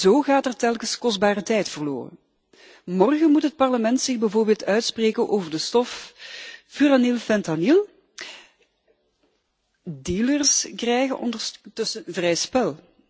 Zo gaat er telkens kostbare tijd verloren. Morgen moet het Parlement zich bijvoorbeeld uitspreken over de stof furanylfentanyl. Dealers krijgen ondertussen vrij spel.